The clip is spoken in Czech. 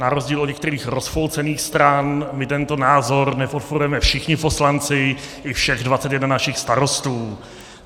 Na rozdíl od některých rozpolcených stran my tento názor nepodporujeme, všichni poslanci i všech 21 našich starostů .